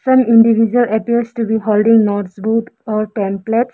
Some individual appears to be holding notebooks or pamplets.